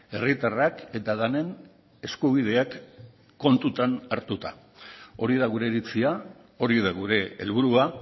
herritarrak eta denen eskubideak kontutan hartuta hori da gure iritzia hori da gure helburua